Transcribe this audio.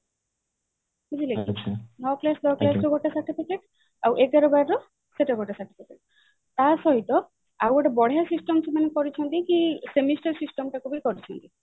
ବୁଝିଲେ କି ନଅ class ଦଶ class ର ଗୋଟେ certificate ଆଉ ଏଗାର ବାର ର ସେଟା ଗୋଟେ certificate ତା ସହିତ ଆଉ ଗୋଟେ ବଢିଆ system ସେମାନେ କରିଛନ୍ତି କି semester system ଟାକୁ ବି କରିଛନ୍ତି